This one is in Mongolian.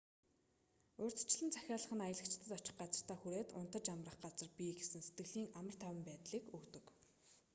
урьдчилан захиалах нь аялагчид очих газартаа хүрээд унтаж амрах газар бий гэсэн сэтгэлийн амар тайван байдлыг өгдөг